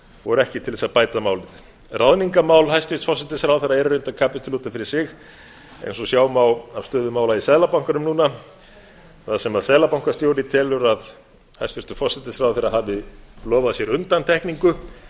voru ekki til þess að bæta málin ráðningarmál hæstvirtur forsætisráðherra eru reyndar kapítuli út af fyrir sig eins og sjá má af stöðu mála í seðlabankanum núna þar sem seðlabankastjóri telur að hæstvirtur forsætisráðherra hafi lofað sér undantekningu